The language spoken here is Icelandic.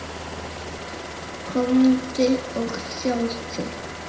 Komdu og sjáðu!